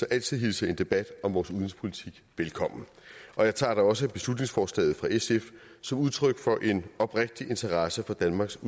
altid hilser en debat om vores udenrigspolitik velkommen og jeg tager da også beslutningsforslaget fra sf som udtryk for en oprigtig interesse for danmarks